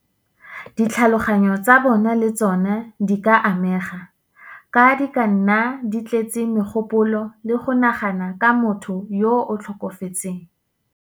Ditlhaloganyo tsa bona le tsona di ka amega, ka di ka nna di tletse megopolo le go nagana ka motho yo o tlhokafetseng.